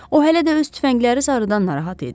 O hələ də öz tüfəngləri sarıdan narahat idi.